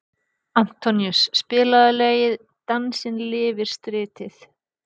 Antoníus, spilaðu lagið „Dansinn lifir stritið“.